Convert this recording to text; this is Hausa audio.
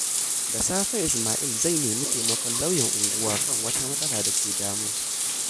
Da safe, Isma’il zai nemi taimakon lauyan unguwa kan wata matsala da ke damunsa.